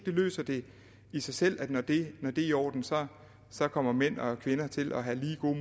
løser det i sig selv altså at når det er i orden så så kommer mænd og kvinder til at have lige gode